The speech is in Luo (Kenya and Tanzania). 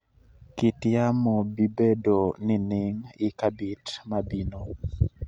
kit yamo bibedo nining i cabit ma bino